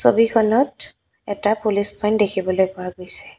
ছবিখনত এটা police point দেখিবলৈ পোৱা গৈছে।